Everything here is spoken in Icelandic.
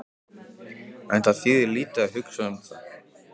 En það þýðir lítið að hugsa um það.